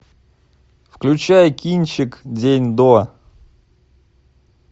включай кинчик день до